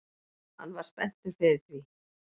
Hann var spenntur fyrir því